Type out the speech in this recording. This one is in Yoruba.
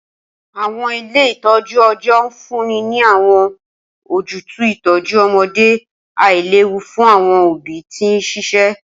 Awọn ile itọju ọjọ nfunni ni awọn ojutu itọju ọmọde ailewu fun awọn obi ti n ṣiṣẹ.